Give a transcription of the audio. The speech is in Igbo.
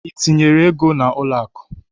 Ị tinyere ego gị n'ụlọakụ?